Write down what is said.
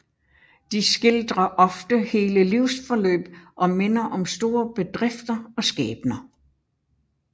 De skildrer ofte hele livsforløb og minder om store bedrifter og skæbner